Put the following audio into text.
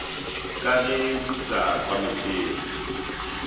ka ge di sa kwametšege